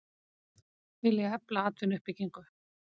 Vilja efla atvinnuuppbyggingu